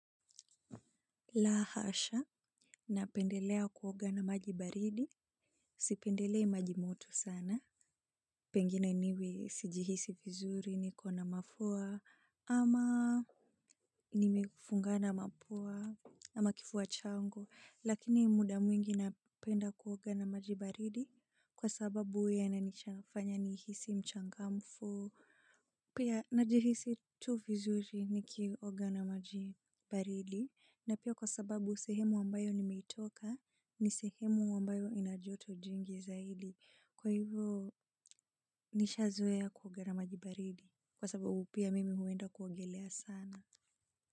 La hasha. Napendelea kuoga na majibaridi. Sipendelei majimoto sana. Pengine niwe sijihisi vizuri, ni kona mafua, ama nimefungana mapua ama kifua changu. Lakini muda mwingi napenda kuoga na maji baridi kwa sababu uwa yananifanya nihisi mchangamfu. Pia najihisi tu vizuri ni kioga na majibaridi. Na pia kwa sababu sehemu ambayo nimeitoka ni sehemu ambayo inajoto jingi zaidi kwa hivyo nishazoea kuogana majibaridi kwa sababu pia mimi huenda kuogelea sana.